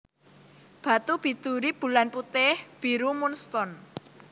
Batu biduri Bulan putih/biru moon stone